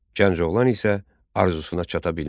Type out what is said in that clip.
Gənc oğlan isə arzusuna çata bilmir.